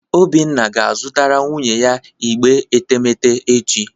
Obinna ga-azụtara nwunye ya igbe etemeete echi